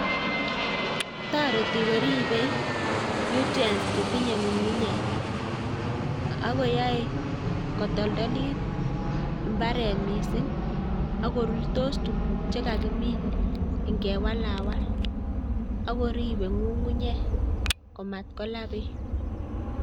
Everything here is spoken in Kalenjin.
Toretii koribee nutrients chetinye ngungunyek ak koyoe kotoltoliit imbaaret missing ak korurtos tuguuk che kakimin ingewalalwal. Ak koriibe ngungunyek komatkola beek